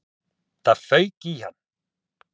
Það fauk í hann.